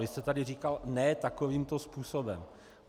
Vy jste tady říkal ne takovýmto způsobem.